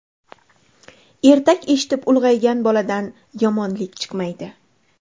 Ertak eshitib ulg‘aygan boladan yomonlik chiqmaydi.